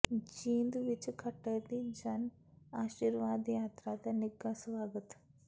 ਜੀਂਦ ਵਿੱਚ ਖੱਟਰ ਦੀ ਜਨ ਆਸ਼ੀਰਵਾਦ ਯਾਤਰਾ ਦਾ ਨਿੱਘਾ ਸਵਾਗਤ